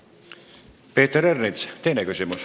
Peeter Ernits, teine küsimus.